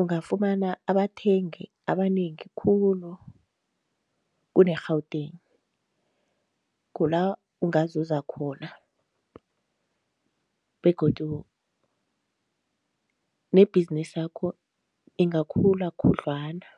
ungafumana abathengi abanengi khulu kune-Gauteng, kula ungazuza khona begodu nebhizinisakho ingakhula khudlwana.